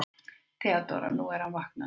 THEODÓRA: Nú, hann er vaknaður.